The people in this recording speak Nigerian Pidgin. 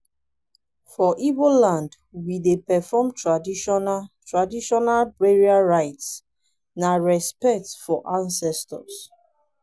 for igbo land we dey perform traditional traditional burial rites na respect for ancestors.